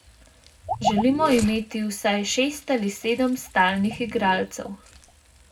Želimo imeti vsaj šest ali sedem stalnih igralcev.